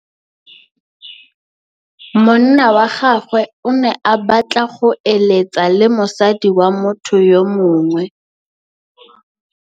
Monna wa gagwe o ne a batla go êlêtsa le mosadi wa motho yo mongwe.